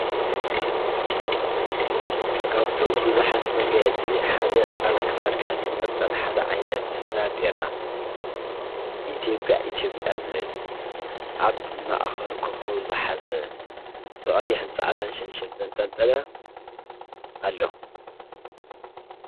ካብቶም ብዙሓት መጋየፂ ሓደ አብ ክሳድካ ዝንጥልጠል ሐደ ዓይነት ባንዴራ ኢትዮጵያ ኢትዮጵያ ዝብል አብ ማእኸሉ ኮከብ ዝሓዘ ብቀይሕ ን ፃዕዳ ን ሸንሸል ዘንጠልጠለ አሎ።